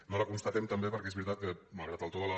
no la constatem també perquè és veritat que malgrat el to de la